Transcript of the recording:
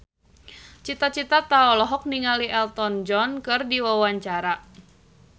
Cita Citata olohok ningali Elton John keur diwawancara